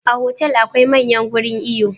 A hotel akwai manyan gurin iyo